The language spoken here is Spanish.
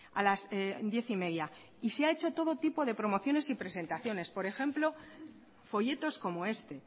a las diez y media y se ha hecho todo tipo de promociones y presentaciones por ejemplo folletos como este